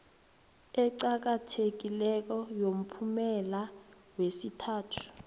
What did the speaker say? eqakathekileko yomphumela yesithathu